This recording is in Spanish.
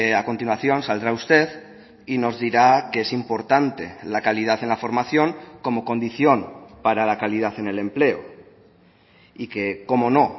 a continuación saldrá usted y nos dirá que es importante la calidad en la formación como condición para la calidad en el empleo y que cómo no